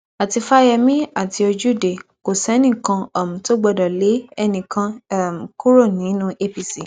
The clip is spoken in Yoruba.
àti fáyẹmì àti ojúde kò sẹnì kan um tó gbọdọ lé ẹnì kan um kúrò nínú apc